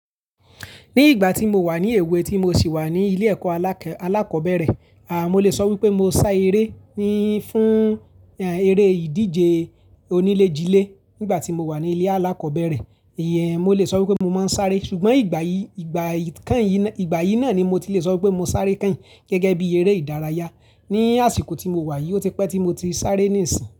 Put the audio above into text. Ní ìgbà tí mo wà ní èwe tí mo sì wà ní ilé ẹ̀kọ́ alákọ̀ọ́bẹ̀rẹ̀, à mo lè sọ wípé mo sá eré ni fún eré ìdíje onílé-jilé nígbà tí mo wà ní ilé alákọ̀ọ́bẹ̀rẹ̀. Ìyẹn mo lè sọ wípé mo máa ń sáré ṣùgbọ́n ìgbà yìí, ìgbà yìí kan yìí ná, ìgbà yìí náà ni mo ti le sọ wípé mo sáré kán gẹ́gẹ́ bí eré ìdárayá. Ni àsìkò tí mo wà yìí ó ti pẹ́ tí mo ti sáré ní ìsìn.